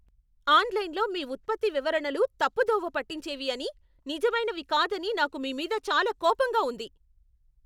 ఆన్లైన్లో మీ ఉత్పత్తి వివరణలు తప్పుదోవ పట్టించేవి అని, నిజమైనవి కాదని నాకు మీ మీద చాలా కోపంగా ఉంది.